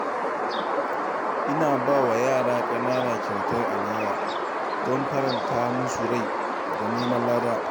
Ina ba wa yara ƙanana kyautar alewa don faranta musu rai da neman lada